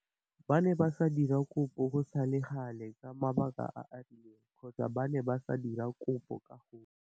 Ba ne ba sa dira kopo go sa le gale ka mabaka a a rileng kgotsa ba ne ba sa dira kopo ka gotlhe.